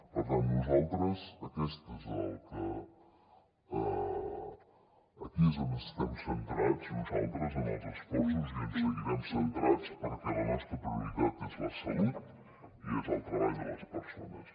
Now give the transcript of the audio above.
per tant nosaltres aquí és on estem centrats en els esforços i on seguirem centrats perquè la nostra prioritat és la salut i és el treball de les persones